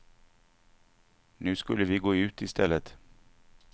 Nu skulle vi gå ut i stället.